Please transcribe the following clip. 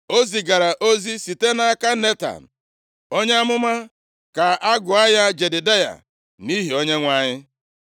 O zigara ozi site nʼaka Netan, onye amụma, ka a gụọ ya Jedidaya nʼihi Onyenwe anyị.